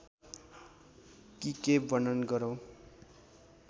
कि के वर्णन गरौं